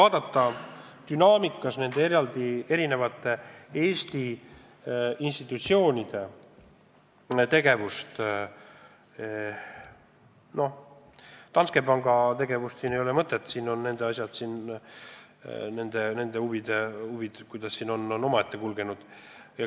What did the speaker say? Aga vaadakem ajaliselt nende Eesti institutsioonide tegevust – Danske panga tegevust ei ole mõtet lahata, sest mängus on nende huvid –, vaadakem, kuidas meil on asjad kulgenud!